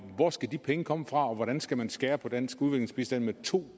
hvor skal de penge komme fra og hvordan skal man skære ned på dansk udviklingsbistand med to